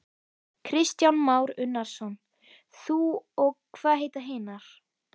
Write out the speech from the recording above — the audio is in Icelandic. Kristján Már Unnarsson: Þú og hvað heita hinar?